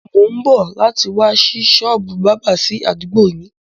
Mo ń bọ̀ láti wá sí sọ́ọ́bù báábà sì àdúgbò yín.